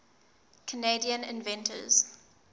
canadian inventors